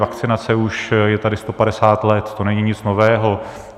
Vakcinace je už tady 150 let, to není nic nového.